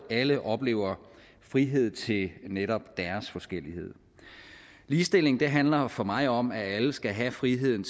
alle oplever frihed til netop deres forskellighed ligestilling handler for mig om at alle skal have friheden